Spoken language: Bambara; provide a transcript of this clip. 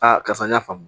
Aa karisa n y'a faamu